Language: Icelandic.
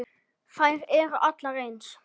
Þær eru allar eins.